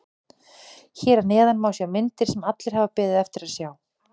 Hér að neðan má sjá myndir sem allir hafa beðið eftir að sjá.